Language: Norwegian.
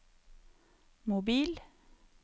mobil